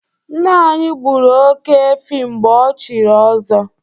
Nna anyị gburu oke-efi mgbe ochiri ọzọ.